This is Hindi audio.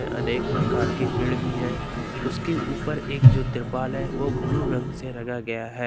अनेक प्रकार के पेड़ भी है उसके ऊपर एक जो तिरपाल है वो ब्लू रंग से रंगा गया है।